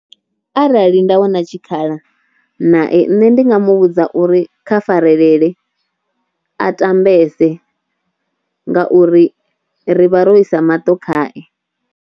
Arali nda wana tshikhala nae nṋe ndi nga mu vhudza uri kha farelela a tambese nga uri rivha ro isa maṱo khae.